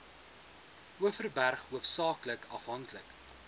overberg hoofsaaklik afhanklik